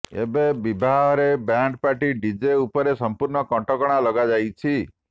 ଏବେ ବିବାହରେ band party DJ ଉପରେ ସମ୍ପୂର୍ଣ୍ଣ କଟକଣା ଲଗାଯାଇଛି